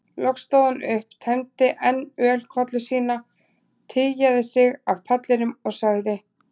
Loks stóð hann upp, tæmdi enn ölkollu sína, tygjaði sig af pallinum og sagði